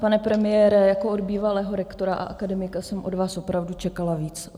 Pane premiére, jako od bývalého rektora a akademika jsem od vás opravdu čekala víc.